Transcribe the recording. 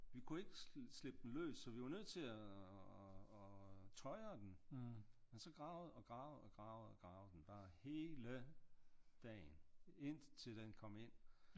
Vi kunne ikke slippe den løs så vi var nødt til at øh tøjre den men så gravede og gravede og gravede og gravede den bare hele dagen indtil den kom ind